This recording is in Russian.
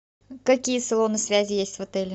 какие салоны связи есть в отеле